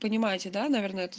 понимаете да наверное это